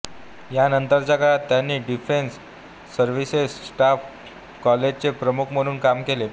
या नंतरच्या काळात त्यांनी डिफेन्स सर्विसेस स्टाफ कॉलेजचे प्रमुख म्हणून काम केले